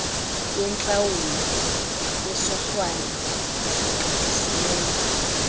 yentlawulo yesohlwayo esigqithisileyo